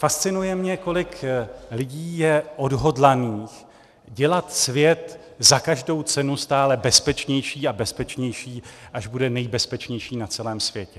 Fascinuje mě, kolik lidí je odhodlaných dělat svět za každou cenu stále bezpečnější a bezpečnější, až bude nejbezpečnější na celém světě.